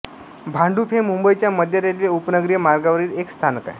भांडुप हे मुंबईच्या मध्य रेल्वे उपनगरीय मार्गावरील एक स्थानक आहे